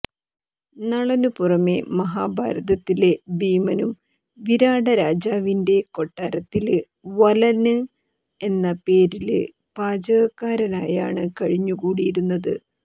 നളനു പുറമെ മഹാഭാരതത്തിലെ ഭീമനും വിരാടരാജാവിന്റെ കൊട്ടാരത്തില് വലലന് എന്ന പേരില് പാചകക്കാരനായാണ് കഴിഞ്ഞു കൂടിയിരുന്നത്